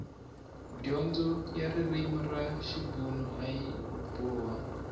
dyondzo ya ririmi ra xibuna ayi boha